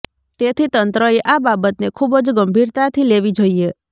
તેથી તંત્રએ આ બાબતને ખૂબ જ ગંભીરતાથી લેવી જોઈએ